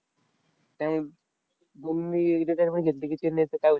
त्यामुळं धोनीनं retirement घेतली की, चेन्नईचं काय होईल?